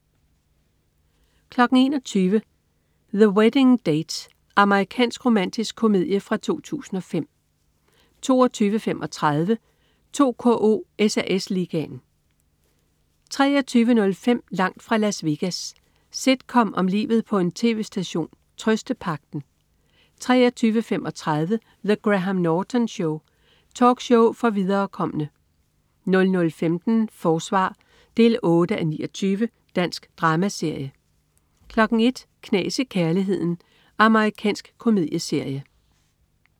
21.00 The Wedding Date. Amerikansk romantisk komedie fra 2005 22.35 2KO: SAS Ligaen 23.05 Langt fra Las Vegas. Sitcom om livet på en tv-station "Trøstepagten" 23.35 The Graham Norton Show. Talkshow for viderekomne 00.15 Forsvar 8:29. Dansk dramaserie 01.00 Knas i kærligheden. Amerikansk komedieserie